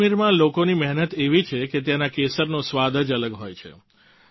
કાશ્મીરના લોકોની મહેનત એવી છે કે ત્યાંના કેસરનો સ્વાદ જ અલગ હોય છે